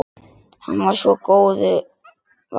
Hann var svo góðu vanur.